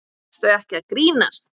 Ertu ekki að grínast?